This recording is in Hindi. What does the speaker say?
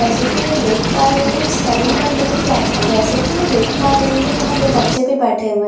जैसा कि में देख पा रही हूँ इस सैलून का कलर वाइट है जैसा कि में देख पा रही हूँ यहां दो बच्चे भी बैठे हुए --